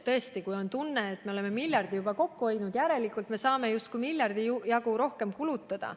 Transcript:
Tõesti, kui on tunne, et oleme miljardi juba kokku hoidnud, siis järelikult saame justkui miljardi jagu rohkem kulutada.